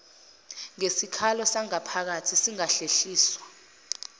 ngesikhalo sangaphakathi singahlehliswa